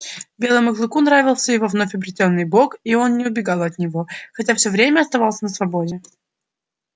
белому клыку нравился его вновь обретённый бог и он не убегал от него хотя все время оставался на свободе